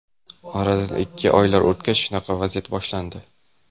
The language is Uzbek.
Oradan ikki oylar o‘tgach, shunaqa vaziyat boshlandi.